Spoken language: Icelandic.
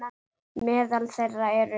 Meðal þeirra eru